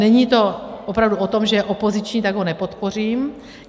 Není to opravdu o tom, že je opoziční, tak ho nepodpořím.